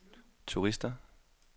turister